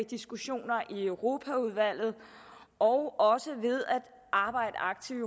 diskussionerne i europaudvalget og ved at arbejde aktivt